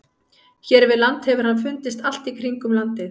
Hér við land hefur hann fundist allt í kringum landið.